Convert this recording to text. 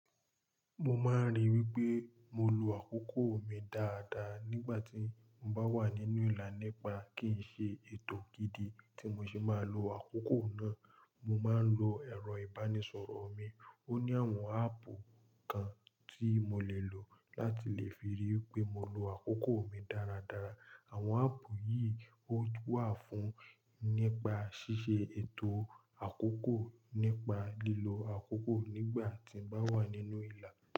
Mo máa n rí i wípé mo lo àkókò mi dáadáa nígbà tí mo bá wà nínú ìlà nípa kì n ṣe ètò gidi tí mo ṣe máa lo àkókò náà. Mo máa ń lo ẹ̀rọ ìbánisọ̀rọ̀ mi, ó ní àwọn áàpù kan tí mo lè lò láti lè fi rí i wípé mo lo àkókò mi dáradára. Àwọn áàpù yìí ó wà fún nípa ṣíṣe ètò àkókò, nípa lílo àkókò nígbà tí mbá wà nínú ìlà.